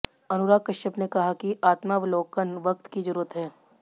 अनुराग कश्यप ने कहा कि आत्मावलोकन वक़्त की ज़रूरत है